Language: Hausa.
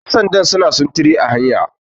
yansanda suna sintiri a hanya